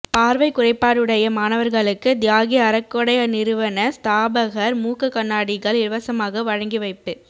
பார்வை குறைபாடுடைய மாணவர்களுக்கு தியாகி அறக்கொடை நிறுவன ஸ்தாபகர் மூக்கு கண்ணாடிகள் இலவசமாக வழங்கிவைப்பு